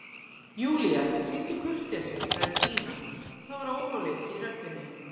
Júlía, sýndu kurteisi sagði Stína og það var óróleiki í röddinni.